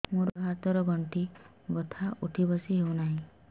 ମୋର ଗୋଡ଼ ହାତ ର ଗଣ୍ଠି ବଥା ଉଠି ବସି ହେଉନାହିଁ